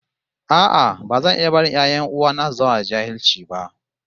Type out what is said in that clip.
No, I won't watch my brother's children remain illiterate